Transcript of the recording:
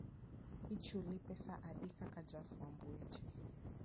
Ichuli pesa adi kaka jafwamb weche?